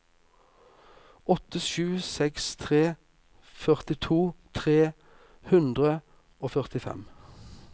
åtte sju seks tre førtito tre hundre og førtifem